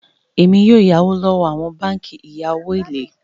Èmi yóò yá owo láti awọn bánkì ìya owo ilé.